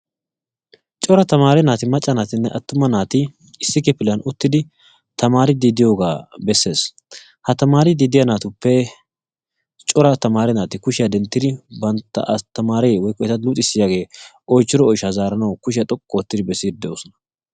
cora tamaarreti naatinne astamaareti issippe kifiliyan diyaageeta besees. ha tamaare natuppe issoti kushiya xoqqu ootidi besoosona.